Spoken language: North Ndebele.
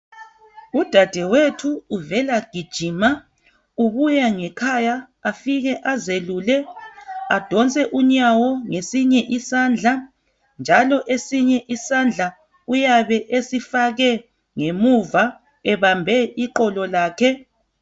Udadewethu uvela gijima ubuya ngekhaya afike azelule adonse unyawo ngesinye isandla njalo esinye isandla uyabe esifake ngemuva ebambe iqolo lakhe